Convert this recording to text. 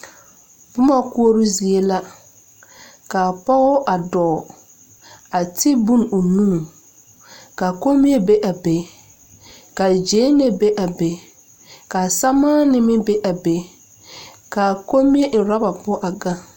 Boma koɔroo zie la ka a pɔge a dɔɔ a ti bone o nu ka kommie be a be ka gyɛnlee be a be sɛmaane be a be ka kommie eŋ ɔraba poɔ a gaŋ.